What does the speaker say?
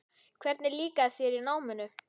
Hvernig líkaði þér í náminu?